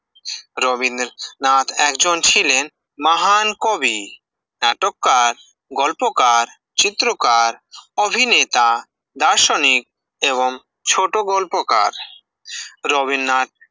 রবীন্দ্রনাথ একজন ছিলেন মাহন কবি, নাটককার, গল্পকার, চিত্রকার, অভিনেতা, বাসনি, এবং ছোট গল্পকার, রবীন্দ্রনাথ